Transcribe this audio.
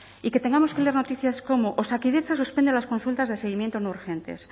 y que tengamos que leer noticias como osakidetza suspende las consultas de seguimiento no urgentes